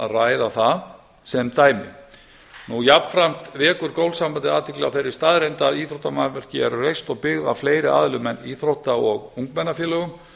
að ræða það sem dæmi jafnframt vekur golfsambandið athygli á þeirri staðreynd að íþróttamannvirki eru reist og byggð á fleiri aðilum en íþrótta og ungmennafélögum